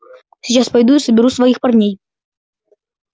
сейчас пойду и соберу своих парней